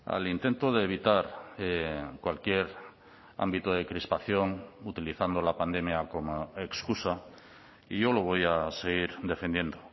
al intento de evitar cualquier ámbito de crispación utilizando la pandemia como excusa y yo lo voy a seguir defendiendo